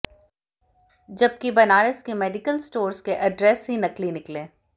जबकि बनारस के medical stores के एड्रेस ही नकली निकले